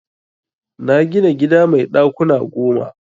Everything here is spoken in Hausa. Na gina gida mai ɗakuna goma.